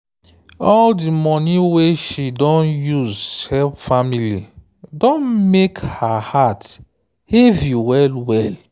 all di money wey she don use help family don mek her heart heavy well-well.